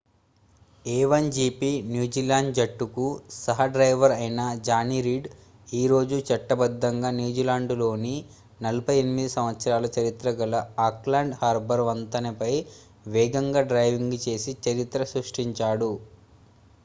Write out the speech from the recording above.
a1gp New Zealand జట్టుకు సహ driver అయిన జానీ రీడ్ ఈ రోజు చట్టబద్దంగా న్యూజిలాండ్లోని 48 సంవత్సరాల చరిత్ర గల ఆక్లాండ్ హార్బర్ వంతెనపై వేగంగా డ్రైవింగ్ చేసి చరిత్ర సృష్టించాడు